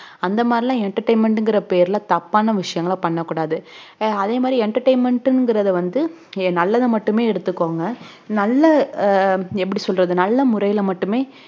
அந்த மாதிரி emtertainment ங்குற பேருல தப்பான விஷயங்கள பண்ணகூடாது அதே மாதிரி entertainment ங்குறது வந்து நல்லத மட்டும் எடுத்துக்கோங்க நல்ல எப்புடி சொல்லறது நல்ல முறைல மட்டுமே